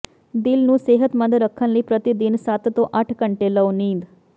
ਦਿਲ ਨੂੰ ਸਿਹਤਮੰਦ ਰੱਖਣ ਲਈ ਪ੍ਰਤੀ ਦਿਨ ਸੱਤ ਤੋਂ ਅੱਠ ਘੰਟੇ ਲਓ ਨੀਂਦ